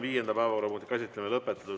Viienda päevakorrapunkti käsitlemine on lõpetatud.